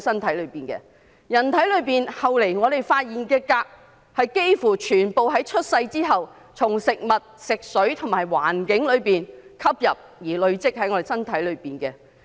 其後在人體發現的鎘，幾乎全部是出生後從食物、食水及環境吸入而累積體內的。